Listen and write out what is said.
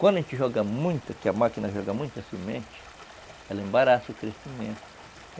Quando a gente joga muita, que a máquina joga muita semente, ela embaraça o crescimento.